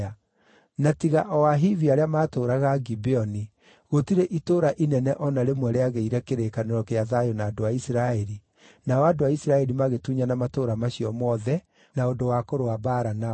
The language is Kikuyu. Na tiga o Ahivi arĩa maatũũraga Gibeoni, gũtirĩ itũũra inene o na rĩmwe rĩagĩire kĩrĩkanĩro gĩa thayũ na andũ a Isiraeli, nao andũ a Isiraeli magĩtunyana matũũra macio mothe na ũndũ wa kũrũa mbaara nao.